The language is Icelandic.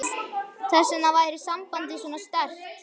Þess vegna væri sambandið svona sterkt.